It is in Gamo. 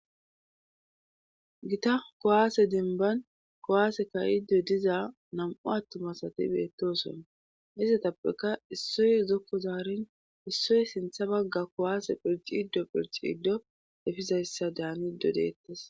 Gita kowaase denban kowaase kayido diza nam'u attumasati beettooson hizatappeka issoy uzokko zaarin issoy sintha bagga kowaase phirciiddo phirciiddo efizayssa daaniddo deettes